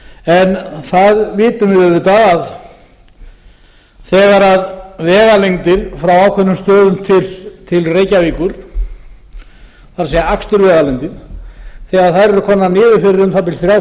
en það vitum við auðvitað að þegar vegalengdin frá ákveðnum stöðum til reykjavíkur það er akstursvegalengda þegar þær eru komnar niður fyrir um það bil þrjár